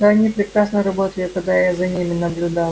но они прекрасно работали когда я за ними наблюдал